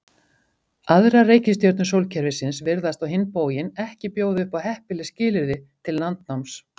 Aðrar reikistjörnur sólkerfisins virðast á hinn bóginn ekki bjóða upp á heppileg skilyrði til landnáms.